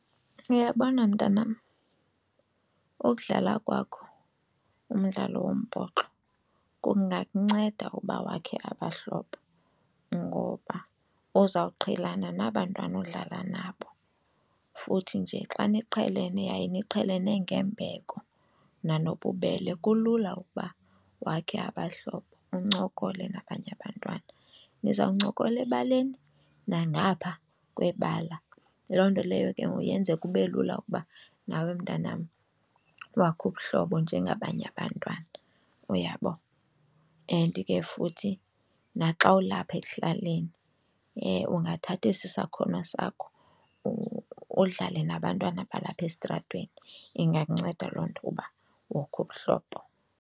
Uyabona mntanam, ukudlala kwakho umdlalo wombhoxo kungakunceda uba wakhe abahlobo ngoba ozawuqhelana nabantwana odlala nabo futhi nje xa niqhelene yaye niqhelene ngembeko nanobubele kulula ukuba wakhe abahlobo uncokole nabanye abantwana. Nizawuncokola ebaleni nangapha kwebala. Loo nto leyo ke ngoku yenze kube lula ukuba nawe mntanam ubakhe ubuhlobo njengabanye abantwana, uyabo. And ke futhi naxa ulapha ekuhlaleni ungathatha esi sakhono sakho udlale nabantwana balapha esitratweni. Ingakunceda loo nto ukuba wokhe ubuhlobo.